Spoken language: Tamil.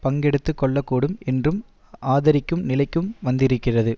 பங்கெடுத்துக்கொள்ளக்கூடும் என்றும் ஆதரிக்கும் நிலைக்கும் வந்திருக்கிறது